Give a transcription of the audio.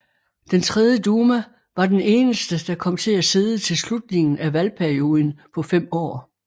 Den tredje duma var den eneste der kom til at sidde til slutningen af valgperioden på fem år